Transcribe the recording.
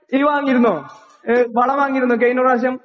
നീ വാങ്ങിയിരുന്നോ? ഏഹ് വളം വാങ്ങിയിരുന്നോ കയിനപ്രാവശ്യം?